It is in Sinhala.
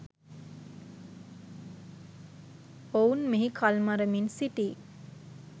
ඔවුන් මෙහි කල්මරමින් සිටී